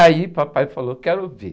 Aí papai falou, quero ver.